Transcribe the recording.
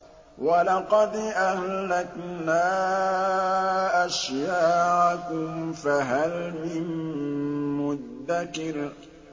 وَلَقَدْ أَهْلَكْنَا أَشْيَاعَكُمْ فَهَلْ مِن مُّدَّكِرٍ